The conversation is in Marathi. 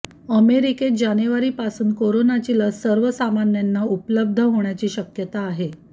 अमेरिकेत जानेवारीपासून कोरोनाची लस सर्वसामान्यांना उपलब्ध होण्याची शक्यता आहे